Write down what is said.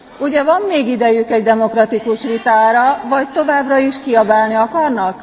Ugye van még idejük egy demokratikus vitára, vagy továbbra is kiabálni akarnak?